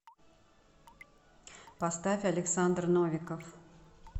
поставь александр новиков